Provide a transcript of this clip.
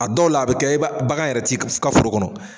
A dɔw la a bɛ kɛ i ba bagan yɛrɛ t'i ka ka foro kɔnɔ.